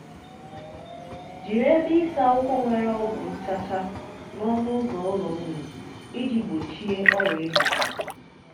jiri ebe ịsa ụkwụ nwere ọgwụ nchacha n'ọnụ ụzọ ụlọ nnụnụ iji gbochie ọrịa ịbata.